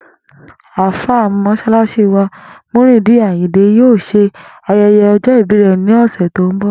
Àlfàá Mó̩s̩álás̩í wa, Muyideen Àyìndé, yóò s̩e aye̩ye̩ o̩jó̩ ìbí rè̩ ní ò̩sè̩ tó ń bò̩